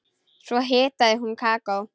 Svo hitaði hún kakó.